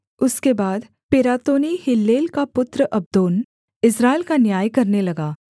उसके बाद Pirathonite Hillel का पुत्र अब्दोन इस्राएल का न्याय करने लगा